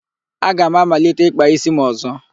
Aga m amalite ịkpa ísí m ọ̀zọ́.